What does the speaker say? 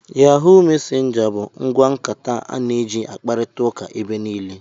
Yahụụ mesenja bụ ngwa nkata a na eji akparita ụka ebe niile.